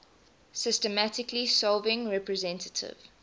systematically solving representative